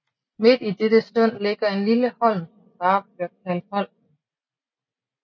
Midt i dette sund ligger en lille holm som bare bliver kaldt Holmen